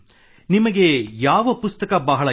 ನಿಮಗೆ ಯಾವ ಪುಸ್ತಕ ಬಹಳ ಇಷ್ಟ